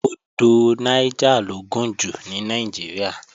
Odò Niger lo gùn jù ní Nàìjíríà